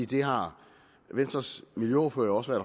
det har venstres miljøordfører også